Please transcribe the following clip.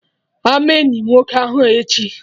Ama eni nwoke ahụ echi!